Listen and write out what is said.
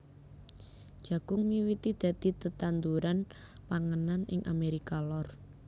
Jagung miwiti dadi tetanduran panganan ing Amérika Lor